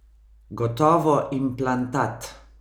Gotovo implantat!